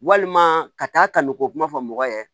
Walima ka taa kaliko kuma fɔ mɔgɔ ye